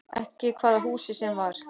Ekki hvaða húsi sem var.